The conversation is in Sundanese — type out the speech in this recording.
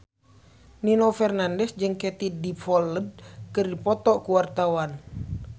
Nino Fernandez jeung Katie Dippold keur dipoto ku wartawan